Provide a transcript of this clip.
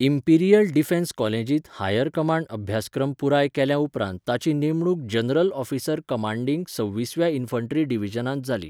Imperial defence कॉलेजींत higher command अभ्यासक्रम पुराय केल्या उपरांत ताची नेमणूक जनरल ऑफिसर कमांडिंग सव्वीसव्या इन्फंट्री डिव्हिजनांत जाली.